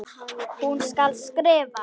Hún skal skrifa!